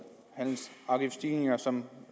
afgiftsstigninger som